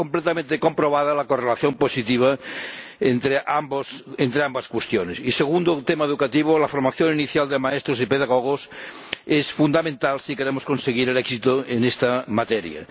Está completamente comprobada la correlación positiva entre ambas cuestiones. Y, segundo tema educativo, la formación inicial de maestros y pedagogos es fundamental si queremos conseguir el éxito en esta materia.